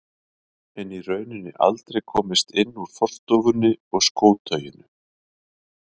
En í rauninni aldrei komist inn úr forstofunni og skótauinu.